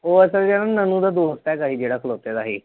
ਉਹ ਅਸਲ ਚ ਦੋਸਤ ਹੈਗਾ ਸੀ ਜਿਹੜਾ ਖਲੌਤੇ ਦਾ ਸੀ।